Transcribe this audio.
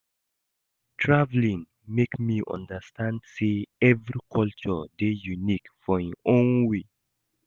Traveling make me understand say every culture dey unique for im own way